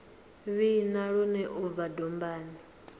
vhina lune u bva dombani